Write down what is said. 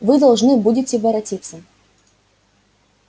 вы должны будете воротиться